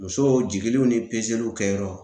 Musow jigiliw ni kɛyɔrɔ.